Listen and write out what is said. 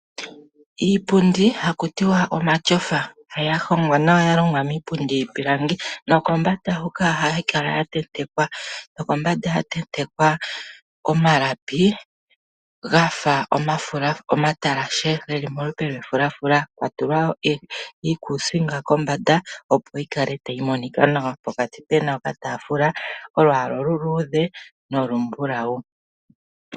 Iipundi ha kutiwa omatyofa, ya hongwa nawa ya longwa miipundi yiipilangi, nokombanda oha yi kala ya tentekwa omalapi ga fa omatalashe, ga fa omafulafula, ya tentekwa iikusinga kombanda poka peba oka taafula ke na olwaala olu luudhe nolumbulau.